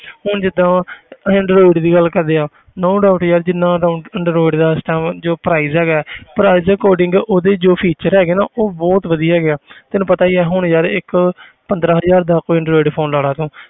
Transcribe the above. ਹੁਣ ਜਿੱਦਾਂ ਅਸੀਂ android ਦੀ ਗੱਲ ਕਰਦੇ ਹਾਂ no doubt ਯਾਰ ਜਿੰਨਾ down android ਦਾ ਇਸ time ਜੋ price ਹੈਗਾ ਹੈ price ਦੇ according ਉਹਦੇ ਜੋ feature ਹੈਗੇ ਨਾ ਉਹ ਬਹੁਤ ਵਧੀਆ ਹੈਗੇ ਆ ਤੈਨੂੰ ਪਤਾ ਹੀ ਆ ਹੁਣ ਯਾਰ ਇੱਕ ਪੰਦਰਾਂ ਹਜ਼ਾਰ ਦਾ ਕੋਈ android phone ਲਾ ਲਾ ਤੂੰ